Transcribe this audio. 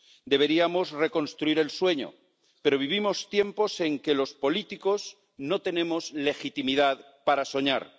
Deberíamos reconstruir el sueño, pero vivimos tiempos en que los políticos no tenemos legitimidad para soñar.